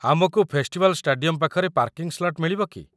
ଆମକୁ festival stadium ପାଖରେ parking slot ମିଳିବ କି?